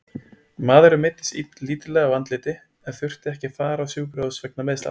Maðurinn meiddist lítillega á andliti en þurfti ekki að fara á sjúkrahús vegna meiðslanna.